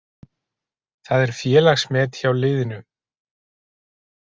Það er félagsmet hjá liðinu.